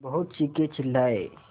बहुत चीखेचिल्लाये